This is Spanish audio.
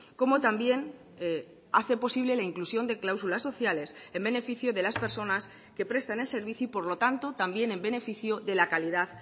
como también hace posible la inclusión de cláusulas sociales en beneficio de las personas que presten el servicio y por lo tanto también en beneficio de la calidad